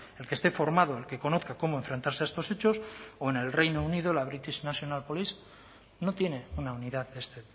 el que esté formado el que conozca cómo enfrentarse a estos hechos o en el reino unido la british national police no tiene una unidad de este